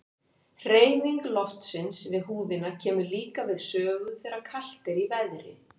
Hreyfing loftsins við húðina kemur líka við sögu þegar kalt er í veðri.